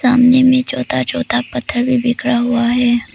सामने में छोटा छोटा पत्थर भी बिखरा हुआ है।